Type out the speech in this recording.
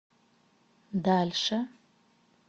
дальше